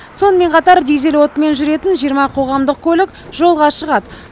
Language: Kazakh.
сонымен қатар дизель отынымен жүретін жиырма қоғамдық көлік жолға шығады